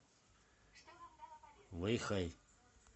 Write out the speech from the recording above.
вэйхай